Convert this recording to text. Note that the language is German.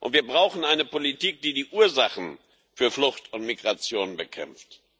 Wir brauchen eine Politik, die die Ursachen für Flucht und Migration bekämpft.